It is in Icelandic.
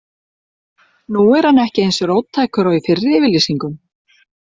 Nú er hann ekki eins róttækur og í fyrri yfirlýsingum.